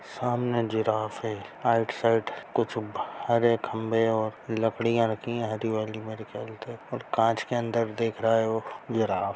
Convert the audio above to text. सामने जिराफ है right side कुछ हरे खंभे और लकड़ियां रखी हैं हरी वाली मेरे ख्याल से और कांच के अंदर दिख रहा है वो जिराफ।